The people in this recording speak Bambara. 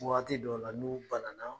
Waati dɔw la n'u banana